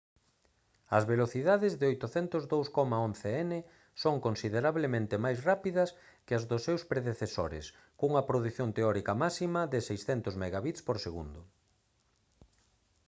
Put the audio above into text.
as velocidades de 802,11n son considerablemente máis rápidas que as dos seus predecesores cunha produción teórica máxima de 600mbit/s